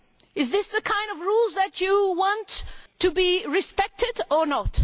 Is this the kind of rules that you want to be respected, or not?